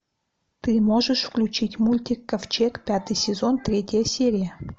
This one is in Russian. ты можешь включить мультик ковчег пятый сезон третья серия